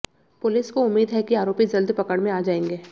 police को उम्मीद है कि आरोपी जल्द पकड़ में आ जाएंगे